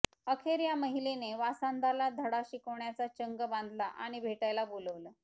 अखेर या महिलेने वासनांधाला धडा शिकवण्याचा चंग बांधला आणि भेटायला बोलावलं